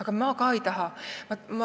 Ma ise ka ei taha seda.